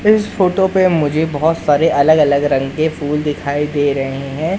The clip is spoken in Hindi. इस फोटो पे मुझे बाहोंत सारे अलग अलग रंग के फूल दिखाई दे रहे हैं।